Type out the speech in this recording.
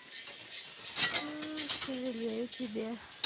сожалею тебе